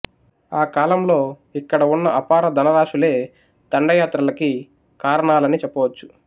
ఆ కాలంలో ఇక్కడ వున్న అపార ధనరాసులే దండయాత్రలకి కారణాలని చెప్పవచ్చు